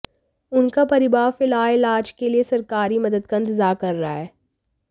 उनका परिवार फिलहाल इलाज के लिए सरकारी मदद का इंतजार कर रहा है